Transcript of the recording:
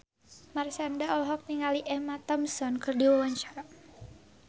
Marshanda olohok ningali Emma Thompson keur diwawancara